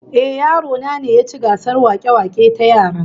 Ehh, yaro na ne ya ci gasar wake-wake ta yara